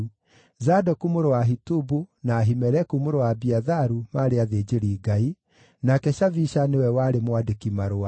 Zadoku mũrũ wa Ahitubu, na Ahimeleku mũrũ wa Abiatharu maarĩ athĩnjĩri-Ngai, nake Shavisha nĩwe warĩ mwandĩki-marũa;